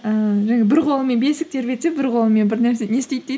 ііі жаңағы бір қолымен бесік тербетсе бір қолымен бір нәрсе не істейді дейді